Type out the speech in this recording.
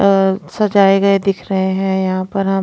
अ सजाए गए दिख रहे हैं यहां पर हम--